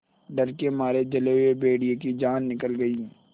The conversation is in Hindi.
डर के मारे जले हुए भेड़िए की जान निकल गई